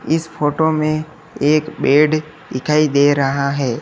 इस फोटो में एक बेड दिखाई दे रहा है।